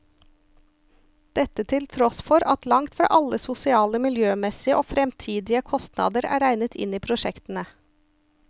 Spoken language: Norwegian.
Dette til tross for at langt fra alle sosiale, miljømessige og fremtidige kostnader er regnet inn i prosjektene.